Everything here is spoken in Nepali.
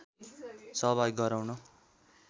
सहभागी गराउन